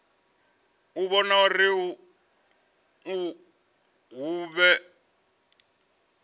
u vhona uri hu vhe